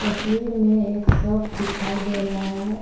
तस्वीर में एक शॉप दिखाई दे रहा है।